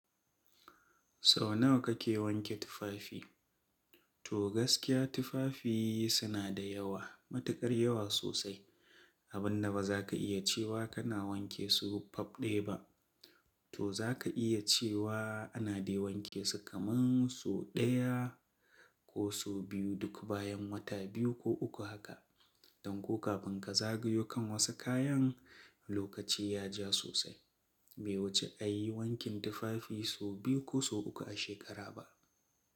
Sau nawa kake wanke tufafi? To gaskiya tufafi suna da yawa, matuƙar yawa sosai, abun da ba za ka iya cewa kana wanke su faf ɗaya ba. To za ka iya cewa ana dai wanke su kaman sau ɗaya ko sau biyu duk bayan wata biyu ko uku haka. Don ko kafin ka zagayo kan wasu kayan, lokaci ya ja sosai. Bai wuce a yi wankin tufafi sau biyu ko sau uku a shekara ba.